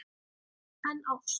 En ást?